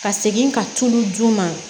Ka segin ka tulu d'u ma